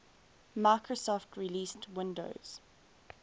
microsoft released windows